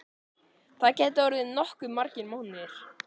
Það gætu orðið nokkuð margir mánuðir.